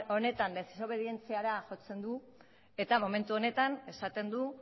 honetan desobedientziara jotzen du eta momentu honetan esaten du